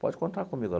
Pode contar comigo.